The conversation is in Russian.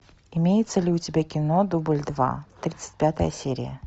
имеется ли у тебя кино дубль два тридцать пятая серия